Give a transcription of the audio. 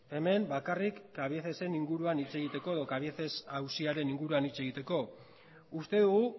hemen bakarri cabiecesen inguruan hitz egiteko edo cabieces auziaren inguruan hitz egiteko uste dugu